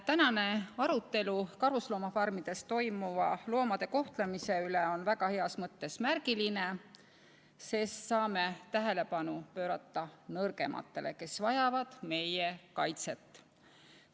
Tänane arutelu karusloomafarmides loomade kohtlemise üle on väga heas mõttes märgiline, sest saame tähelepanu pöörata nõrgematele, kes vajavad meie kaitset.